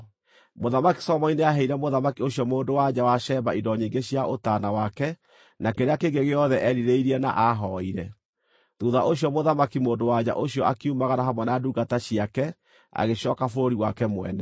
Mũthamaki Solomoni nĩaheire mũthamaki ũcio mũndũ-wa-nja wa Sheba indo nyingĩ cia ũtaana wake na kĩrĩa kĩngĩ gĩothe eerirĩirie na aahooire. Thuutha ũcio Mũthamaki mũndũ-wa-nja ũcio akiumagara hamwe na ndungata ciake agĩcooka bũrũri wake mwene.